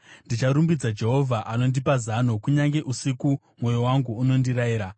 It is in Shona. Ndicharumbidza Jehovha, anondipa zano; kunyange usiku mwoyo wangu unondirayira.